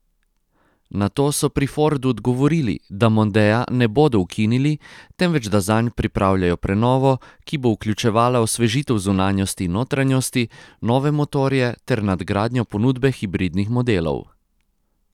Na to so pri Fordu odgovorili, da mondea ne bodo ukinili, temveč, da zanj pripravljajo prenovo, ki bo vključevala osvežitev zunanjosti in notranjosti, nove motorje ter nadgradnjo ponudbe hibridnih modelov.